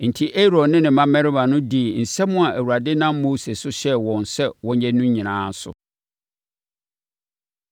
Enti, Aaron ne ne mmammarima dii nsɛm a Awurade nam Mose so hyɛɛ wɔn sɛ wɔnyɛ no nyinaa so.